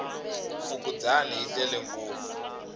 fukundzani yi tele ngopfu